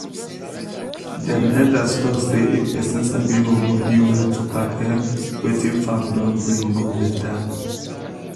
dem elders talk say if person sabi hold body well to pack um wetin farm don bring go better.